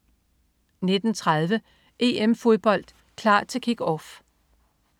19.30 EM-Fodbold: Klar til Kick-Off